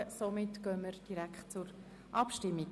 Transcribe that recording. Somit kommen wir direkt zur Abstimmung.